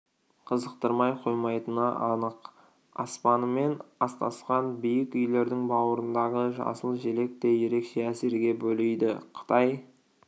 қызықтырмай қоймайтыны анық аспанымен астасқан биік үйлердің бауырындағы жасыл желек те ерекше әсерге бөлейді қытай